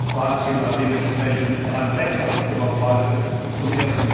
Kroatien hat dementsprechend einen Rechtsanspruch auf Beitritt zum